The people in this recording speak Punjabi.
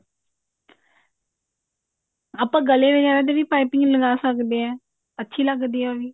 ਆਪਾ ਗਲੇ ਬ੍ਵ੍ਵ੍ਗੇਰਾ ਤੇ ਵੀ ਪਾਈਪਿੰਨ ਲਗਾ ਸਕਦੇ ਹਾਂ ਅੱਛੀ ਲੱਗਦੀ ਆ ਉਹ ਵੀ